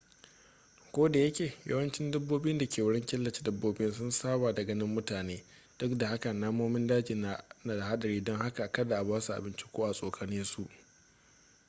kodayake yawancin dabbobi da ke wurin killace dabbobin sun saba da ganin mutane duk da haka namomin daji na da hadari don haka kada a basu abinci ko a tsokane su